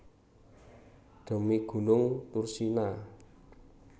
Dhemi gunung Thursina